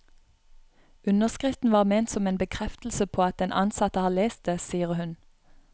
Underskriften var ment som en bekreftelse på at den ansatte har lest det, sier hun.